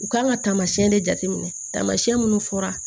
U kan ka taamayɛn de minɛ taamasiyɛn minnu fɔra